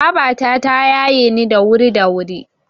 Babata ta yaye ni da wuri da wuri.